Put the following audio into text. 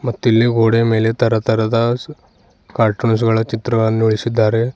ಮತ್ತು ಇಲ್ಲಿ ಗೋಡೆಯ ಮೇಲೆ ತರ ತರದ ಕಾರ್ಟೂನ್ ಗಳ ಚಿತ್ರವನ್ನು ಇಳಿಸಿದ್ದಾರೆ.